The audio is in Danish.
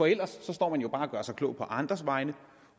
ellers står man jo bare og gør sig klog på andres vegne